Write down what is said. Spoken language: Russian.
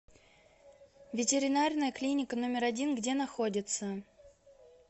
ветеринарная клиника номер один где находится